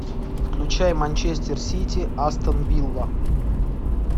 включай манчестер сити астон вилла